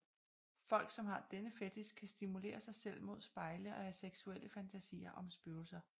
Folk som har denne fetich kan stimulere sig selv mod spejle og have seksuelle fantasier om spøgelser